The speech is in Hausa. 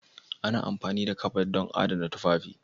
Ana amfani da kabad don adana tufafi.